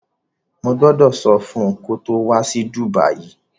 Mo gbọ́dọ̀ sọ fun kó wá sí Dùbàyí